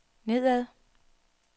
nedad